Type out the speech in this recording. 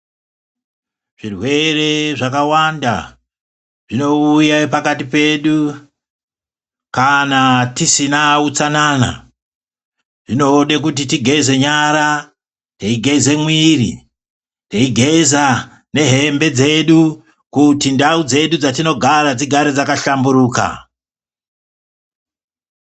Zvirwere zvakawanda zvinouya pakati pedu kana tisina utsanana. Zvinode kuti tigeze nyara, teigeze mwiri, teigeza nehembe dzedu kuti ndau dzedu dzetinogara dzigare dzakahlamburuka.